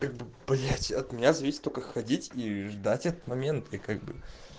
как бы блять от меня зависит только ходить и ждать этот момент как бы